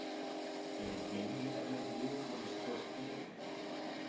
Eru fleiri erlend lið búin að spyrjast fyrir um þig?